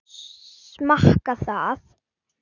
Smakka það.